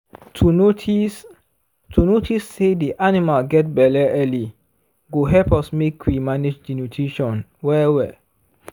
to notice to notice say the animal get belle early go help us make we manage the nutition well well